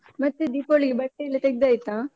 ಮತ್ತೆ ದೀಪಾವಳಿಗೆ ಬಟ್ಟೆ ಎಲ್ಲ ತೆಗ್ದಾಯ್ತಾ?